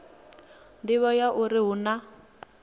nḓivho ya uri hu na